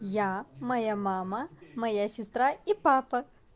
я моя мама моя сестра и папа